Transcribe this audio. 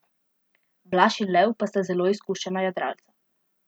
Blaž in Lev pa sta zelo izkušena jadralca.